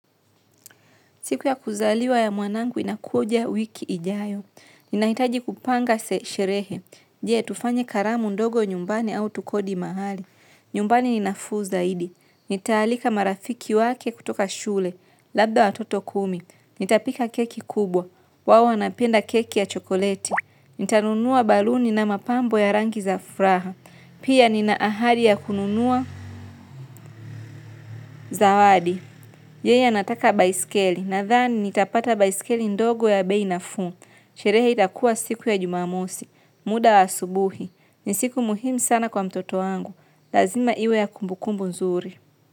Siku ya kuzaliwa ya mwanangu inakuja wiki ijayo. Ninahitaji kupanga se sherehe. Je tufanye karamu ndogo nyumbani au tukodi mahali. Nyumbani ni nafuu zaidi. Nitaalika marafiki wake kutoka shule. Labda wa toto kumi. Nitapika keki kubwa. Wao wanapenda keki ya chokoleti. Nitanunua baluni na mapambo ya rangi za furaha. Pia ninaahari ya kununua za wadi. Yeye anataka baiskeli na thani nitapata baiskeli ndogo ya bei nafuu. Sherehe itakua siku ya jumamosi. Muda wa asubuhi. Nisiku muhimu sana kwa mtoto wangu. Lazima iwe ya kumbukumbu nzuri.